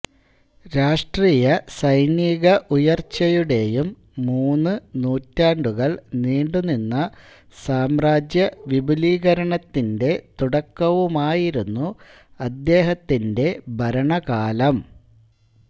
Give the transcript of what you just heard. രാഷ്ട്രീയസൈനിക ഉയർച്ചയുടെയും മൂന്ന് നൂറ്റാണ്ടുകൾ നീണ്ടുനിന്ന സാമ്രാജ്യവിപുലീകരണത്തിന്റെ തുടക്കവുമായിരുന്നു അദ്ദേഹത്തിന്റെ ഭരണകാലം